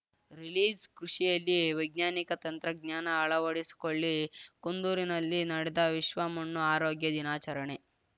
ರಿಲೀಸ್‌ಕೃಷಿಯಲ್ಲಿ ವೈಜ್ಞಾನಿಕ ತಂತ್ರಜ್ಞಾನ ಅಳವಡಿಸಿಕೊಳ್ಳಿ ಕುಂದೂರಿನಲ್ಲಿ ನಡೆದ ವಿಶ್ವಮಣ್ಣು ಆರೋಗ್ಯ ದಿನಾಚರಣೆ